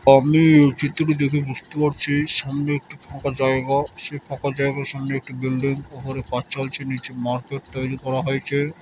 আপনি এই চিত্রটি দেখে বুঝতে পাচ্ছি সামনে একটি ফাঁকা জায়গা সে ফাঁকা জাগার সামনে একটি বিল্ডিং উপরে কাজ চলছে নিচে মার্কেট তৈরি করা হয়েছে ।